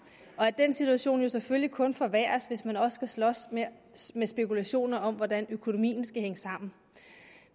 og at den situation jo selvfølgelig kun forværres hvis man også skal slås med med spekulationer om hvordan økonomien skal hænge sammen